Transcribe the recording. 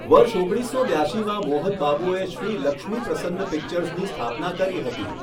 વર્ષ ઓગણીસસો બ્યાશીમાં મોહન બાબુએ શ્રી લક્ષ્મી પ્રસન્ન પિક્ચર્સની સ્થાપના કરી હતી.